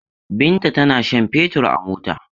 Binta tana shan fetur a mota.